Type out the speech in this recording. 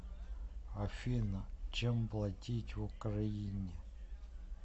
афина чем платить в украине